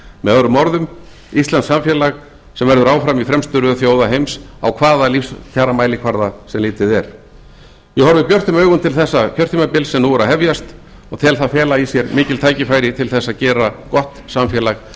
með öðrum orðum íslensk samfélag sem verður áfram í fremstu röð þjóða heims á hvaða lífskjaramælikvarða sem litið er ég horfi björtum augum til þessa kjörtímabils sem nú er að hefjast og tel það fela í sér mikil tækifæri til þess að geta gott samfélag